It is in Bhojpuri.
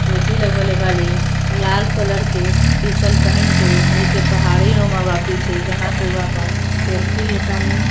टोपी लगवले बानी लाल कलर के टीशर्ट पहीन के नीचे पहाडे रोमा वापे छे जहाँ पे वहाँ पर सेल्फ़ी लेतानी |